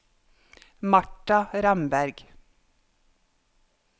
Martha Ramberg